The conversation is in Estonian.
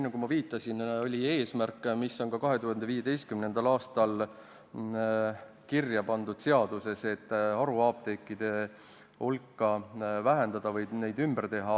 Nagu ma viitasin, oli eesmärgiks – mis on ka 2015. aastal kirja pandud seaduses – haruapteekide hulka vähendada või need ümber teha.